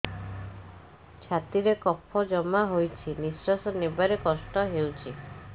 ଛାତିରେ କଫ ଜମା ହୋଇଛି ନିଶ୍ୱାସ ନେବାରେ କଷ୍ଟ ହେଉଛି